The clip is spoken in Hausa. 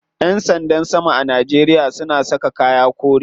Yan sanda sama a Najeria suna saka kaya kore.